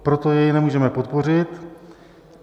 Proto jej nemůžeme podpořit.